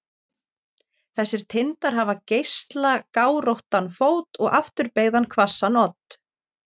Þessir tindar hafa geislagáróttan fót og afturbeygðan hvassan odd.